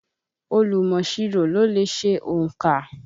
Olùmọ̀ṣirò ló le ṣe ònkà.